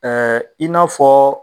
Ɛɛ i n'a fɔɔ